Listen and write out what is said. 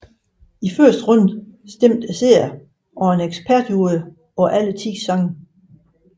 I første runde stemte seerne og en ekspertjury på alle ti sange